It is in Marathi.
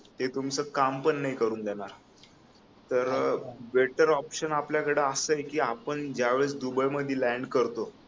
ते तुमच काम पण नाही करु देणार तर बेटर ऑपशन आपल्याकडे असाय की आपण ज्या वेळेस दुबई मध्ये लँड करतो